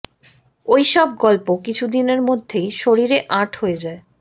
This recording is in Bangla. ঐ সব গল্প কিছুদিনের মধ্যেই শরীরে আঁট হয়ে যায়